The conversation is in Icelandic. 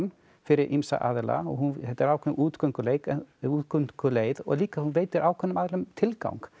fyrir ýmsa aðila og þetta er ákveðin útgönguleið útgönguleið og líka hún veitir ákveðnum aðilum tilgang